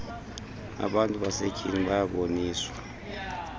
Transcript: abantu basetyhini bayaboniswa